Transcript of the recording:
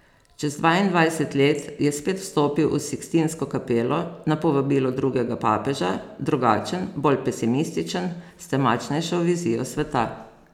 Čez dvaindvajset let je spet vstopil v Sikstinsko kapelo, na povabilo drugega papeža, drugačen, bolj pesimističen, s temačnejšo vizijo sveta.